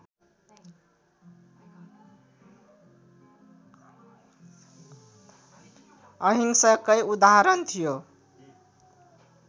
अहिंसाकै उदाहरण थियो